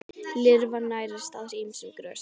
Lirfan nærist á ýmsum grösum.